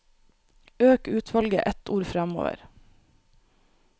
Øk utvalget ett ord framover